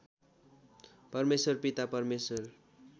परमेश्वर पिता परमेश्वर